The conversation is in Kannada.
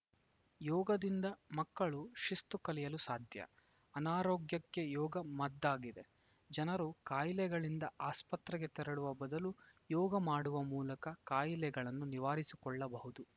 ಯೋಗದಿಂದ ಮಕ್ಕಳು ಶಿಸ್ತು ಕಲಿಯಲು ಸಾಧ್ಯ ಅನಾರೋಗ್ಯಕ್ಕೆ ಯೋಗ ಮದ್ದಾಗಿದೆ ಜನರು ಕಾಯಿಲೆಗಳಿಂದ ಆಸ್ಪತ್ರೆಗೆ ತೆರಳುವ ಬದಲು ಯೋಗ ಮಾಡುವ ಮೂಲಕ ಕಾಯಿಲೆಗಳನ್ನು ನಿವಾರಿಸಿಕೊಳ್ಳಬಹುದು